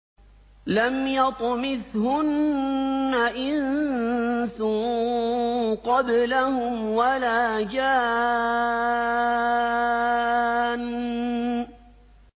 لَمْ يَطْمِثْهُنَّ إِنسٌ قَبْلَهُمْ وَلَا جَانٌّ